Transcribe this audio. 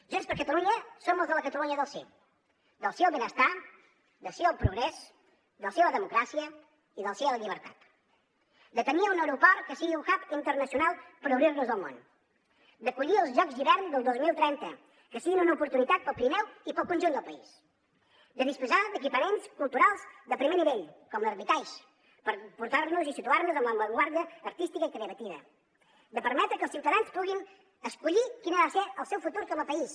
junts per catalunya som els de la catalunya del sí del sí al benestar del sí al progrés del sí a la democràcia i del sí a la llibertat de tenir un aeroport que sigui un hub internacional per obrir nos al món d’acollir els jocs d’hivern del dos mil trenta que siguin una oportunitat pel pirineu i pel conjunt del país de disposar d’equipaments culturals de primer nivell com l’hermitage per portar nos i situar nos en la l’avantguarda artística i creativa de permetre que els ciutadans puguin escollir quin ha de ser el seu futur com a país